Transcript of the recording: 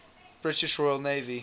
british royal navy